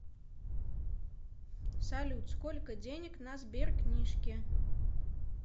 салют сколько денег на сберкнижке